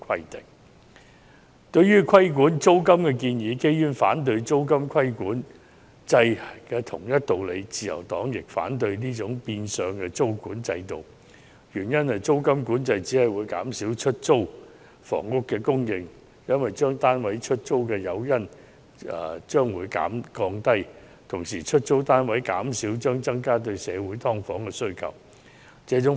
就原議案提出規管"劏房"租金的建議，基於反對租金管制的同一道理，自由黨亦反對這種變相的租管制度，原因是租金管制只會降低業主出租單位的誘因，減少出租單位的供應，進而令社會對"劏房"的需求更殷切。